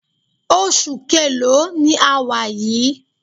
Oṣù keèlo ni a wà yìí?